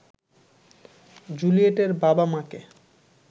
জুলিয়েটের বাবা-মাকে